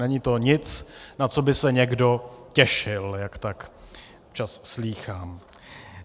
Není to nic, na co by se někdo těšil, jak tak občas slýchám.